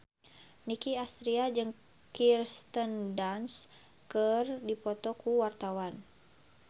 Nicky Astria jeung Kirsten Dunst keur dipoto ku wartawan